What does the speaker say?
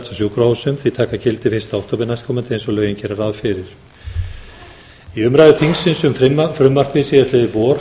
en þau taka gildi fyrsta október næstkomandi eins og lögin gera ráð fyrir í umræðu þingsins um frumvarpið síðastliðið vor